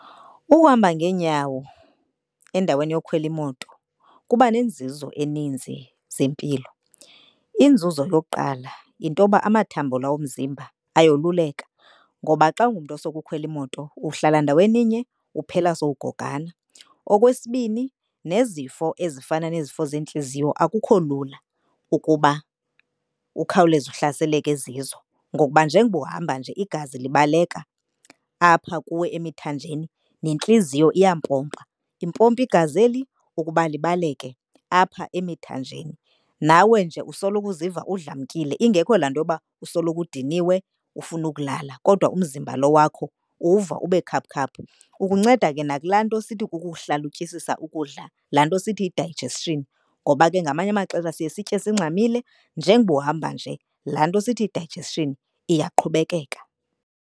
Ukuhamba ngeenyawo endaweni yokhwela imoto kuba nenzuzo eninzi zempilo. Inzuzo yokuqala yintoba amathambo la womzimba ayoluleka ngoba xa ungumntu osoloko ukhwela imoto uhlala ndaweninye uphela sowugogana. Okwesibini, nezifo ezifana nezifo zeentliziyo akukho lula ukuba ukhawuleze uhlaseleke zizo. Ngokuba njengoba uhamba nje igazi libaleka apha kuwe emithanjeni, nentliziyo iyampopa. Impompa igazi eli ukuba libaleke apha emithanjeni. Nawe nje usoloko uziva udlamkile ingekho laa nto yoba usoloko udiniwe ufuna ukulala kodwa umzimba lo wakho uwuva ube khaphukhaphu. Ukunceda ke nakulaa nto sithi kukuhlalutyisisa ukudla, laa nto sithi yi-digestion ngoba ke ngamanye amaxesha siye sitye singxamile njengoba uhamba nje laa nto sithi yi-digestion iyaqhubekeka.